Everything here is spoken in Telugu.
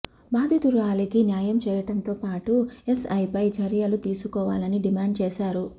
బాధితురాలికి న్యాయం చేయడంతో పాటు ఎస్ఐపై చర్యలు తీసు కోవాలని డిమాండ్ చేశారు